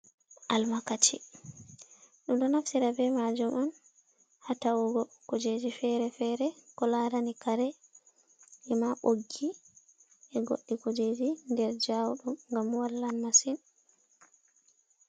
Almakaci, ɗum ɗo naftira bee maajum on haa ta'ugo kuujeeji feere-feere ko laarani kare, ema ɓoggi e goɗɗi kuujeeji nder jawɗum ngam wallan masin.